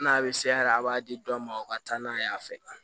N'a bɛ se hɛrɛ a b'a di dɔ ma o ka taa n'a ye yan fɛ